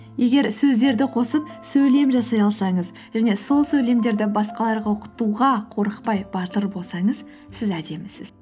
егер сөздерді қосып сөйлем жасай алсаңыз және сол сөйлемдерді басқаларға оқытуға қорықпай батыр болсаңыз сіз әдемісіз